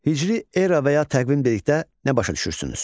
Hicri era və ya təqvim dedikdə nə başa düşürsünüz?